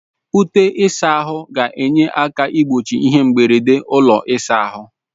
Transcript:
Ute ịsa ahụ ga-enye aka igbochi ihe mberede ụlọ ịsa ahụ.